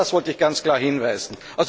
Auf das wollte ich ganz klar hinweisen.